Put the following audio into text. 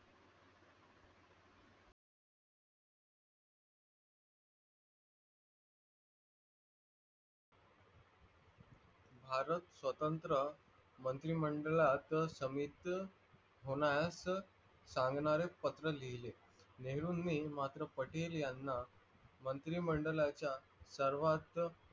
भारत स्वतंत्र मंत्री मंडळात समीत होणार संगणार पत्र लिहिले. नेहरूनी मात्र पटेलयांना मंत्री मंडळाच्या सर्वात